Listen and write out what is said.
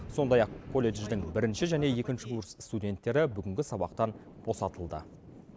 сондай ақ колледждің бірінші және екінші курс студенттері бүгінгі сабақтан босатылды